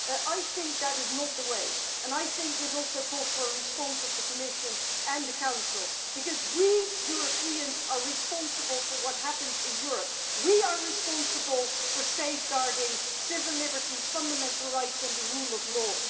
I do not think that is the way and I think that this also calls for a response from the Commission and the Council because we Europeans are responsible for what happens in Europe. We are responsible for safeguarding civil liberties, fundamental rights and the rule of law.